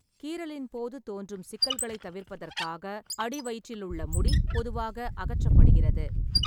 கீறலின் போது தோன்றும் சிக்கல்களைத் தவிர்ப்பதற்காக அடிவயிற்றிலுள்ள முடி பொதுவாக அகற்றப்படுகிறது.